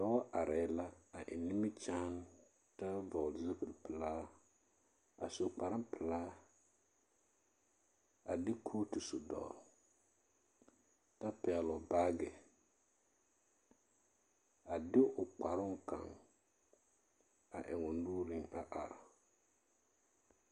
Dɔɔ arɛɛ la eŋ nimikyaane kyɛ hɔɔl zupilipelaa a su kparpelaa a de kooto a su dɔɔle kyɛ pɛɡele o baaɡe a de o kparoo kaŋ a eŋ o nuuriŋ a are.